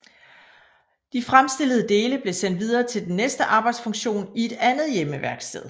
De fremstillede dele blev sendt videre til den næste arbejdsfunktion i et andet hjemmeværksted